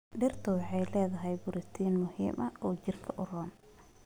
Digirta waxay leedahay borotiin muhiim ah oo jirka u roon.